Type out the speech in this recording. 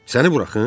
Səni buraxım?